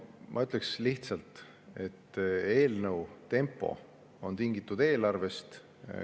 Ma ütleks lihtsalt, et eelnõu tempo on tingitud eelarvest.